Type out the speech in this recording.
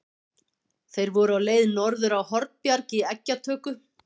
Þeir voru á leið norður á Hornbjarg í eggjatöku.